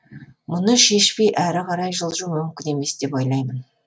мұны шешпей әрі қарай жылжу мүмкін емес деп ойлаймын